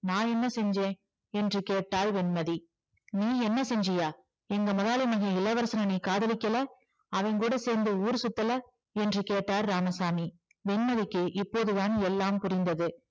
நான் என்ன செஞ்சேன் என்று கேட்டாள் வெண்மதி நீ என்ன செஞ்சியா எங்க முதலாளி மகன் இளவரசன நீ காதலிக்கல அவங்கூடசேர்ந்து ஊர் சுத்தல என்று கேட்டார் இராமசாமி வெண்மதிக்கு இப்போதுதான் எல்லாம் புரிந்தது